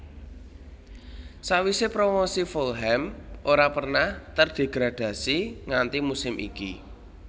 Sakwisé promosi Fulham ora pernah terdegradasi nganti musim iki